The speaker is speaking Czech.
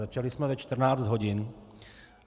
Začali jsme ve 14 hodin.